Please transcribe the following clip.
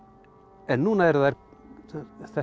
en núna eru þær þessar